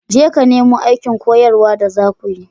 Jeka nemo aikin koyarwa da za ku yi.